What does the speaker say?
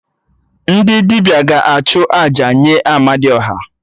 Ndị dibịa ga-achụ àjà nye Amadiọha